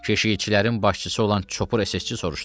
Keşikçilərin başçısı olan çopur əsgərçi soruşdu.